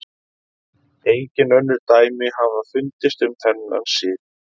Engin önnur dæmi hafa fundist um þennan sið.